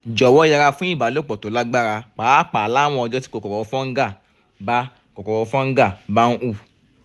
jọwọ yẹra fún ìbálòpọ̀ tó lágbára pàápàá láwọn ọjọ́ tí kòkòrò fungal bá kòkòrò fungal bá ń hù